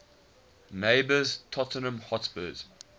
neighbours tottenham hotspur